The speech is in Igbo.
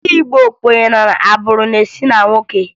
Ndị Igbo kwenyere na agbụrụ na-esi na nwoke